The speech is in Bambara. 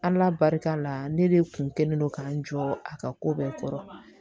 Ala barika la ne de kun kɛlen don k'an jɔ a ka ko bɛɛ kɔrɔ